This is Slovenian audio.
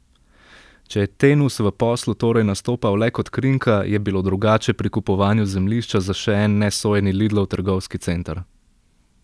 Če je Tenus v poslu torej nastopal le kot krinka, je bilo drugače pri kupovanju zemljišča za še en nesojeni Lidlov trgovski center.